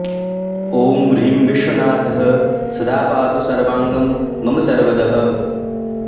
ॐ ह्रीं विश्वनाथः सदा पातु सर्वाङ्गं मम सर्वदः